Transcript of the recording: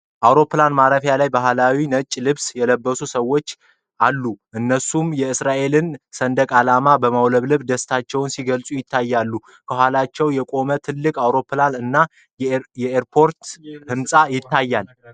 ይህ ምስል አውሮፕላን ማረፊያ ላይ በባህላዊ ነጭ ልብስ የለበሱ ሰዎች ያሳያል። እነሱም የእስራኤልን ሰንደቅ ዓላማ በማውለብለብ ደስታቸውን ሲገልጹ ይታያሉ፤ ከኋላቸው የቆመ ትልቅ አውሮፕላን እና የኤርፖርት ህንፃ ይታያል።